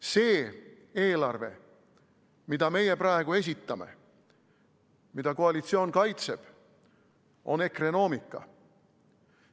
See eelarve, mida meie praegu esitame, mida koalitsioon kaitseb, on ekrenoomika.